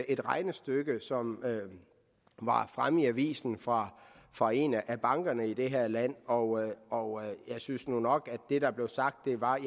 et regnestykke som var fremme i avisen fra fra en af bankerne i det her land og og jeg synes nu nok at det der blev sagt var at